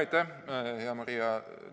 Aitäh, hea Maria!